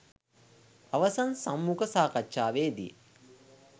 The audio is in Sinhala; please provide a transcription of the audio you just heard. අවසන් සම්මුඛ සාකච්ඡාවේදී